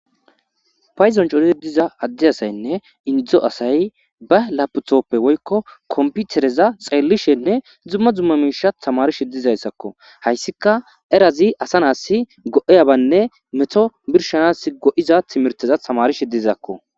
Paydon coridi diza adde asaynne inddo asay ba lapithoppe woykko komputereza xeellishenne dumma dumma miisha tamarishe dizayssakko. Hayssika erazi asa nasi go7eyabaynne meto birshanas go7iza timirteza tamarishi dizakko.